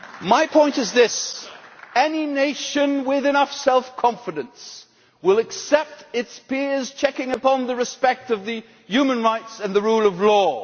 My point is this any nation with enough self confidence will accept its peers' checking on its observance of human rights and the rule of law.